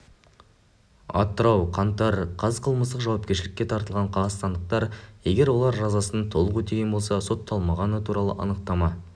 атырау қаңтар қаз қылмыстық жауапкершілікке тартылған қазақстандықтар егер олар жазасын толық өтеген болса сотталмағаны туралы анықтама